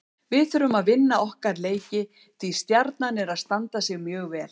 Við þurfum að vinna okkar leiki því Stjarnan er að standa sig mjög vel.